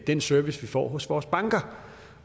den service vi får hos vores banker